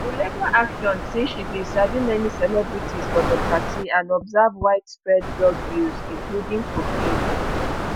di legal action say she bin sabi many celebrities for di party and observe widespread drug use including cocaine